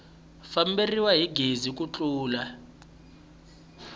famberiwa hi gezi ku tlula